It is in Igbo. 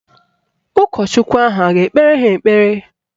Ụkọchukwu ahụ a ga-ekpere ha ekpere?